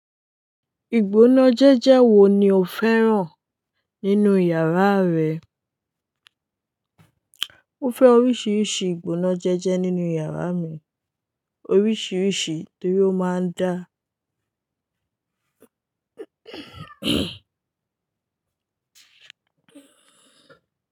Ìgbóná jẹ́jẹ́ wo ni o fẹ́ràn nínú yàrá rẹ? Mo fẹ́ oríṣiríṣi ìgbóná jẹ́jẹ́ nínú yàrá mi, oríṣiríṣi torí ó máa ń dá.